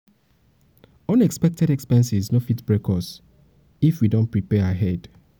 unexpected expenses no fit break us if we don prepare ahead.